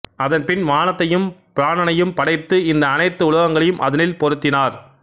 அதன்பின் வானத்தையும் பிராணனையும் படைத்து இந்த அனைத்து உலகங்களையும் அதனில் பொருத்தினார்